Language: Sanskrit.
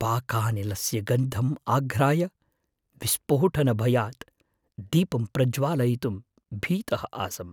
पाकानिलस्य गन्धं आघ्राय विस्फोटनभयात् दीपं प्रज्वालयितुं भीतः आसम्।